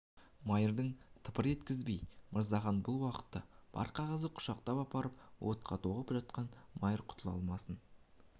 майырды тыпыр еткізбеді мырзахан бұл уақытта бар қағазды құшақтап апарып отқа тоғытып жатқан майыр құтыла алмасын